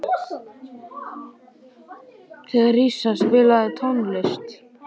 Theresa, spilaðu tónlist.